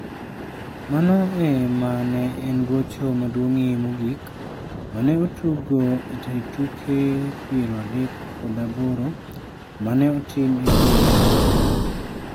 Mano e ma ne en gocho maduong'ie mogik ma ne otuggo e tuke 38 ma ne otim e kinde moro.